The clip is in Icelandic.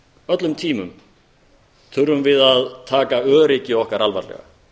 öllum tímum þurfum við að taka öryggi okkar alvarlega